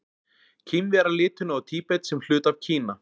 Kínverjar líta nú á Tíbet sem hluta af Kína.